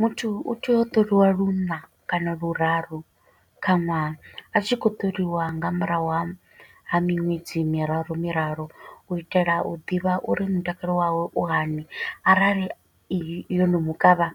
Muthu u tea u ṱoliwa luṋa kana luraru kha ṅwaha. A tshi khou ṱoliwa nga murahu ha ha miṅwedzi miraru miraru, u itela u ḓivha uri mutakalo wawe u hani. Arali yo no mukavha,